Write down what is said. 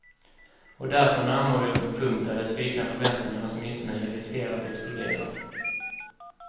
Och därför närmar vi oss en punkt där de svikna förväntningarnas missnöje riskerar att explodera.